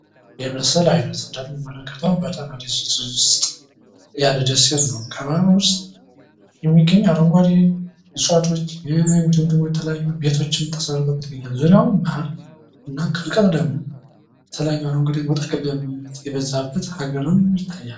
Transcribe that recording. ይህ ምስል አይነት እንደምንመለከተው በጣና ደሴት ዉስጥ ያለ ደሴት ነው። ከባህሩ ዉስጥ የሚገኝ አረንጓዴ እጽዋቶች እንዲሁም ደግሞ ቤቶችም ተሰርተዉበት ይገኛል። ዙሪያውን ባህር እንዲሁም ከቅርብ ደግሞ የተለያዩ አረንጓዴ ተክሎች የበዛበት ሃገርም ይታያል።